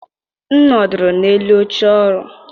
M nọdụrụ n'elu oche ọrụ.